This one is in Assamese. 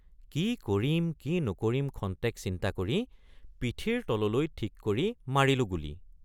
কি কৰিম কি নকৰিম খন্তেক চিন্তা কৰি পিঠিৰ তললৈ ঠিক কৰি মাৰিলোঁ গুলী।